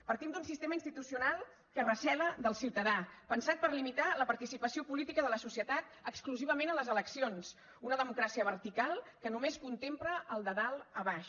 partim d’un sistema institucional que recela del ciutadà pensat per limitar la participació política de la societat exclusivament a les eleccions una democràcia vertical que només contempla el de dalt a baix